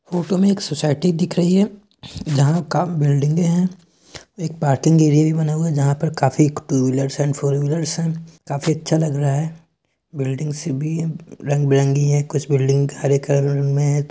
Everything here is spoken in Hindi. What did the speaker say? फोटो में एक सोसाइटी दिख रही है जहां कम बिल्डिंगे है एक पार्किंग एरिया भी बना हुआ है जहां काफी two wheelers and four wheelers है काफी अच्छा लग रहा है बिल्डिंग्स भी रंग-बिरंगी है कुछ बिल्डिंग हरे कलर में है।